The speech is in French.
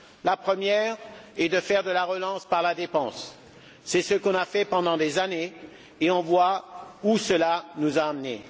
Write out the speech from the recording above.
La première est de faire de la relance par la dépense. C'est ce qu'on a fait pendant des années et l'on voit où cela nous a menés.